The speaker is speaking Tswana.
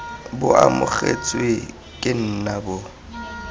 bo amogetswe ke nna bo